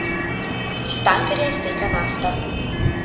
Iz tankerja izteka nafta.